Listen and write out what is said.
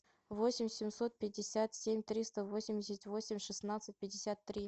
восемь семьсот пятьдесят семь триста восемьдесят восемь шестнадцать пятьдесят три